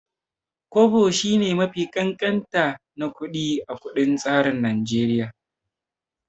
Kwabo shine mafi ƙanƙanta na kuɗi a kundin tsarin Naijeriya.